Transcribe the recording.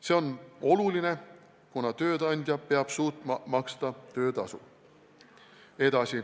See on oluline, kuna tööandja peab suutma maksta töötasu.